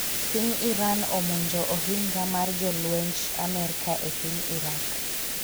piny Iran omonjo ohinga mar jolwenj Amerka e piny Irak